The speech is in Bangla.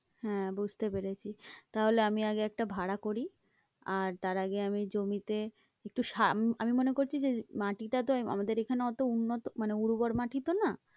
হ্যাঁ, বুঝতে পেরেছি তাহলে আমি আগে একটা ভাড়া করি আর তার আগে আমি জমিতে একটু আমি মনে করছি যে মাটিটা তো আমাদের এখানে অতো উন্নত মানে উর্বর মাটি তো না।